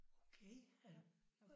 Okay øh